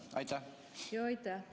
Aitäh!